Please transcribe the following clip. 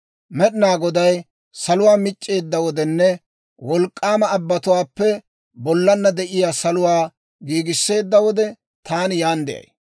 «Med'inaa Goday salotuwaa mic'c'eedda wodenne wolk'k'aama abbatuwaappe bollana de'iyaa saluwaa giigisseedda wode, taani yaan de'ay.